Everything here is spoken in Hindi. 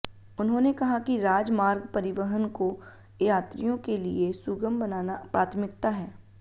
उन्होंने कहा कि राज मार्ग परिवहन को यात्रियों के लिए सुगम बनाना प्राथमिकता है